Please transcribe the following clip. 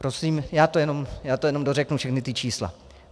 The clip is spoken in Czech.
Prosím, já to jenom dořeknu, všechna ta čísla.